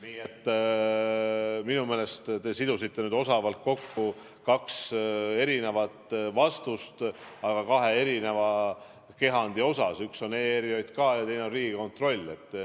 Nii et minu meelest te sidusite osavalt kokku kaks eri vastust, aga kahe eri kehandi kohta: üks on ERJK ja teine on Riigikontroll.